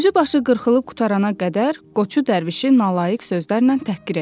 Üzü başı qırxılıb qurtarana qədər, Qoçu Dərvişi nalayiq sözlərlə təhqir elədi.